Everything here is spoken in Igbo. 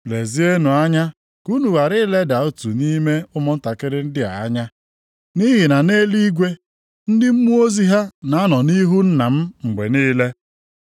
“Lezienụ anya ka unu ghara ileda otu nʼime ụmụntakịrị ndị a anya. Nʼihi na nʼeluigwe, ndị mmụọ ozi ha na-anọ nʼihu Nna m mgbe niile.